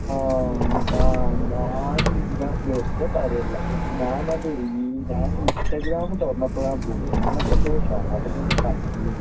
ആ ഞാൻ ഇതാ വെർതെ പറയല്ല ഞാനത് റീൽ ഞാൻ ഇൻസ്റ്റാഗ്രാം തൊറന്നപോളാണെന്ന് തോനുന്നു അങ്ങിനത്തെ എന്തോ സാധനം ഞാൻ കണ്ടിരുന്നു